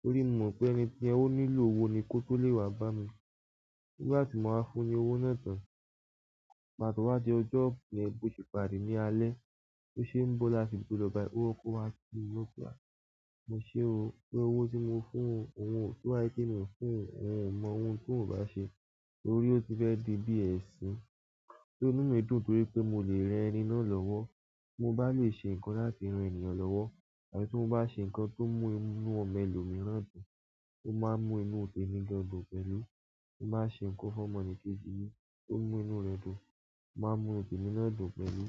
Torí mo mọ̀ pé ẹni tí ẹ ó nílò owó ni kó tó lè wá bá mi. Nígbà tí mo máa fún un ní owó náà tán, pàtó wá di ọjọ́ yẹ̀n bó se pàdé ní alẹ̀, bó ṣe ń bó láti ibi to lọ báyi owó kó wá sí inú ọgbà. Mo ṣé o pé owó tí mo fún òun, òun ó to bá sé pe mi o fún ohun o mọ ohun tí òun ò bá ṣe tórí ó ti fẹ́ di bí ẹ̀sìn. Só inú mi dùn torí pé mo lè rẹ ẹni náà lọ́wọ́. Mo bá lè ṣe nǹkan láti ran ènìyàn lọ́wọ́ tàbí tí mo bá ṣe nǹkan tó mú inú ọmọ ẹlòmíràn dùn, ó máa mú inú témi mi gan dùn pẹ̀lú. Mo má ṣe nǹkan fún ọmọ la kejì mi tó mú inú rẹ̀ dùn o máa mú inú tèmi náà dùn pẹ̀lú.